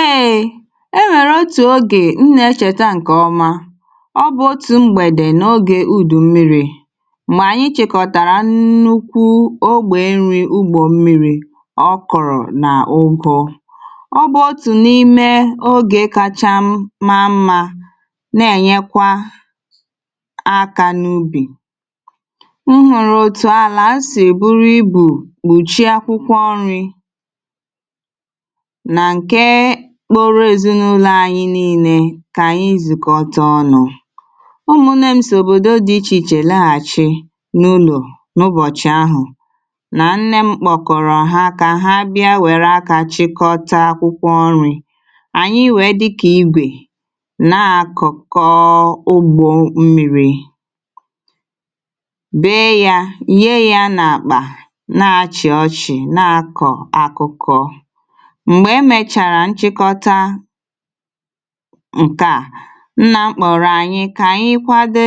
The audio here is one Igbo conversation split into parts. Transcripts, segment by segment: eèè e nwèrè otù ogè m nà-echèta ǹkè ọma ọ bụ̀ otù mgbèdè nà ogè u̇dù mmiri̇ mgbè anyị chèkọ̀tàrà nnukwu ogbè nri ugbò mmiri̇ ọ kọ̀rọ̀ nà ogò ọ bụ̀ otù n’ime ogè kacha maa mmȧ na-ènyekwa aka n’ubì m hụ̀rụ̀ otù àlà a sì èburu ibù gbùchie akwụkwọ ọrị̇ kpụrụ èzinụlọ̇ anyi niilė kà ànyị zùkwọ̀tà ọnụ̇ ụmụ̀nẹ m sòbòdo dị̇ ichè ichè laghàchi n’ụlọ̀ n’ụbọ̀chị̀ ahụ̀ nà ǹnẹ mkpòkọrọ ha kà ha bịa wèrè akà chịkọta akwụkwọ ọrị̇ ànyị wèe dịkà igwè nà-àkụkọ ugbọ̀ mmiri̇ bee yȧ ye yȧ n’àkpà nà-achị̀ ọchị̀ nà-akọ̀ akụkọ ǹkè a nà-mkpọ̀rọ̀ ànyị kà ànyị kwade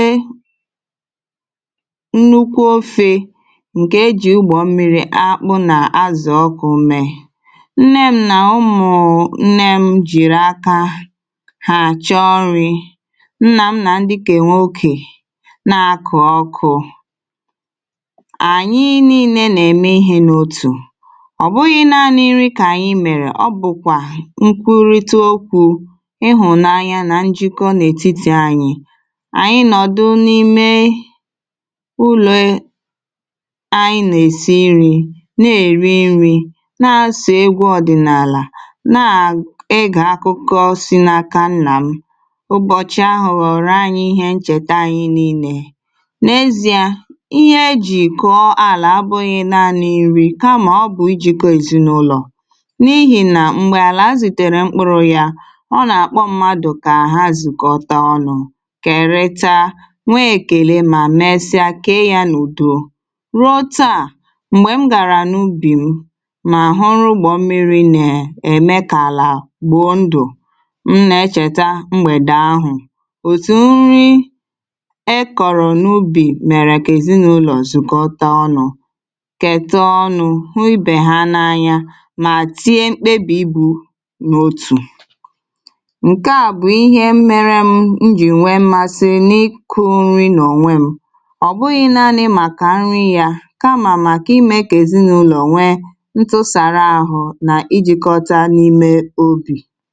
nnukwu ofė ǹkè ejì ugbọ̀ mmiri akpụ̇ nà azụ̀ ọkụ̇ mee nne ṁ nà ụmụ̀ nne ṁ jìrì aka hà chọọ ọrị̇ nnà m nà ndị kèwà okè nà-akụ̀ ọkụà ànyị nille nà-ème ihe n’òtù ịhụnanya nà njịkọ̇ n’ètitì anyị̇ ànyị nọ̀dụ n’ime ụlọ̀e anyị nà-èsi nri̇ na-èri nri̇ nà-asọ̀ egwù̇ ọ̀dị̀nààlà na-egà akụkọ̇ si n’aka nnà m ụbọ̀chị̀ a hụ̀rụ̀ ànyị ihe nchète ànyị nille n’ezi a ihe eji̇kụ̀ ọọ̀là abụghị̇ naanị̇ nri kamà ọ bụ̀ ijikọ̇ èzinụlọ̀ àlà àzụtèrè mkpụrụ ya ọ nà-àkpọ mmadụ kà àhazùkọta ọnụ̇ kèretà nwee èkèle mà mesia kee ya n’ùduo ruo taà m̀gbè m gàrà n’ubì m mà hụrụ ugbȯ mmiri̇ nè ème kà àlà gbuo ndụ̀ m na-echèta mgbèdè ahụ̀ òtù nri e kọ̀rọ̀ n’ubì mèrè kà èzinàụlọ̀ zùkwọ̀tà ọnụ̇ kẹ̀tẹ ọnụ̇ hụ ibe ha n’anya mà tie mkpebì ibu̇ ǹkè a bụ̀ ihe mmerė m m jì nwee mmasị n’ịkụ̇ nri nà ònwè m ọ̀ bụghị̇ naanị̇ màkà nri̇ yà kamà mà kà imė kà èzinụ̇lọ̀ ònwè ntụsàrà ahụ̇ nà ijikọta n’ime obì.